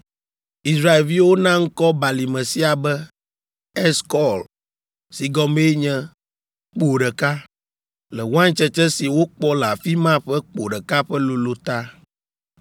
Israelviwo na ŋkɔ Balime sia be, Eskɔl, si gɔmee nye “Kpo ɖeka” le waintsetse si wokpɔ le afi ma ƒe kpo ɖeka ƒe lolo ta!